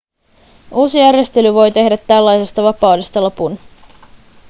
uusi järjestely voi tehdä tällaisesta vapaudesta lopun